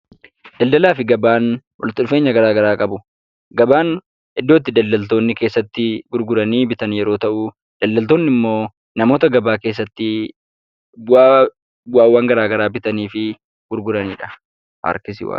Daldalaa fi gabaan walitti dhufeenya garaa garaa qabu. Gabaan iddoo itti daldaltoonni keessatti gurguranii bitan yoo ta' u daldaltoonni immoo namoota gabaa keessatti bu'aawwan garaa garaa bitanii fi gurguranidha.